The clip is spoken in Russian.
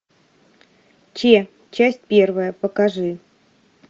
че часть первая покажи